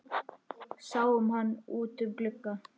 Sáum hann út um glugga.